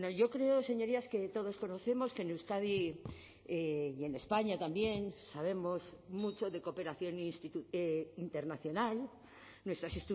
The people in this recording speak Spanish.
yo creo señorías que todos conocemos que en euskadi y en españa también sabemos mucho de cooperación internacional nuestras